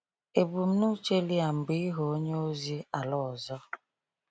Ebumnuche Liam bụ ịghọ onye ozi ala ọzọ.